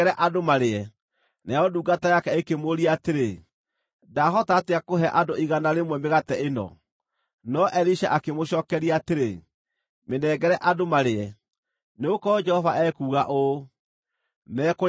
Nayo ndungata yake ĩkĩmũũria atĩrĩ, “Ndaahota atĩa kũhe andũ igana rĩmwe mĩgate ĩno?” No Elisha akĩmũcookeria atĩrĩ, “Mĩnengere andũ marĩe. Nĩgũkorwo Jehova ekuuga ũũ: ‘Mekũrĩa na matigie.’ ”